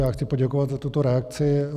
Já chci poděkovat za tuto reakci.